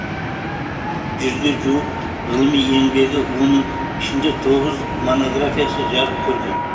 жүзге жуық ғылыми еңбегі оның ішінде тоғыз монографиясы жарық көрген